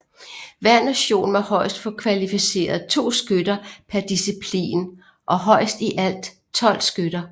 Hver nation må højst få kvalificeret 2 skytter per disciplin og højst i alt 12 skytter